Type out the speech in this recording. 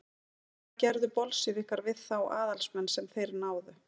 hvað gerðu bolsévikar við þá aðalsmenn sem þeir náðu